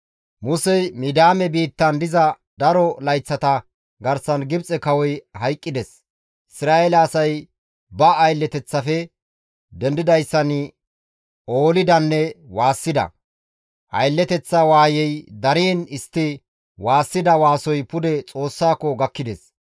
Musey Midiyaame biittan diza daro layththata garsan Gibxe kawoy hayqqides. Isra7eele asay ba aylleteththafe dendidayssan oolidanne waassida; aylleteththa waayey dariin istti waassida waasoy pude Xoossako gakkides.